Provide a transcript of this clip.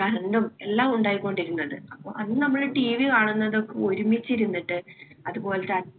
current ഉം എല്ലാം ഉണ്ടായിക്കൊണ്ടിരുന്നത്. അപ്പൊ അന്ന് നമ്മുടെ TV കാണുന്നതൊക്കെ ഒരുമിച്ചിരുന്നിട്ട് അതുപോല്‍ത്തെ